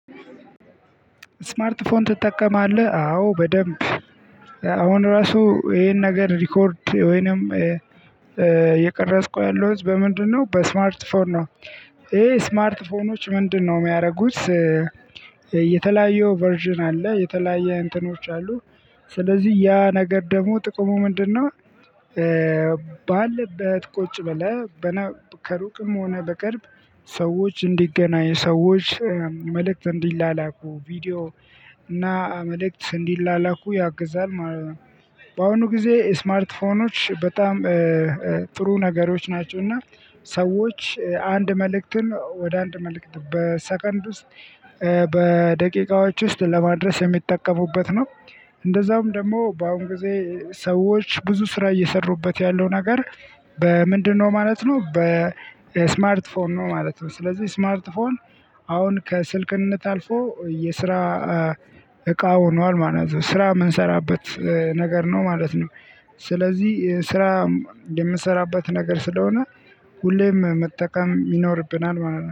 "ስማርት ፎን ትጠቀማለህ?" አዎ በደንብ። አሁን ራሱ ይሄን ነገር ሪኮርድ ወይንም እየቀረጽኩ ያለሁት በምንድነው በስማርት ፎን ነው። ይሄ ስማርት ፎኖች ምንድነው የሚያደርጉት የተለያዩ ቨርዥን አለ የተለያየ እንትኖች አሉ። ስለዚህ ያ ነገር ደግሞ ጥቅሙ ምንድነው ባለበት ቁጭ ብለህ በነ ከሩቅም ሆነ በቅርብ ሰዎች እንዲገናኝ ሰዎች መልእክት እንዲላላኩ ቪዲዮ እና መልእክት እንዲላላኩ ያግዛል ማለት ነው። በአሁኑ ጊዜ ስማርት ፎኖች በጣም ጥሩ ነገሮች ናቸው፤ እና ሰዎች አንድ መልእክትን ወደ አንድ መልእክት በሰከንድ ውስጥ በደቂቃዎች ውስጥ ለማድረስ የሚጠቀሙበት ነው። እንደዛውም ደግሞ በአሁን ጊዜ ሰዎች ብዙ ስራ እየሰሩበት ያለው ነገር በምንድነው ማለት ነው በስማርት ፎን ነው ማለት ነው። ስለዚህ ስማርት ፎን አሁን ከስልክነት አልፎ የስራ እቃ ሆኗል ማለት ነው ስራ የምንሰራበት ነገር ነው ማለት ነው። ስለዚህ ስራ የምንሰራበት ነገር ስለሆነ ሁሌም መጠቀም ይኖርብናል ማለት ነው።